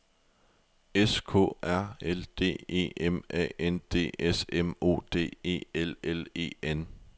S K R A L D E M A N D S M O D E L L E N